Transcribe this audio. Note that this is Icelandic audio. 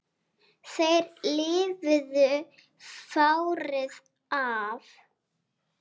Þeir lifðu fárið af